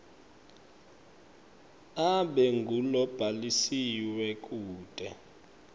abe ngulobhalisiwe kute